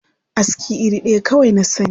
Aska iri ɗaya kawai na sani.